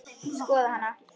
Skoða hana?